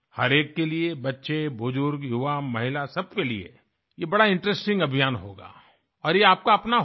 हर एक के लिए बच्चे बुजुर्ग युवा महिला सब के लिए ये बड़ा इंटरेस्टिंग अभियान होगा और ये आपका अपना होगा